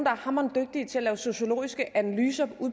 er hamrende dygtige til at lave sociologiske analyser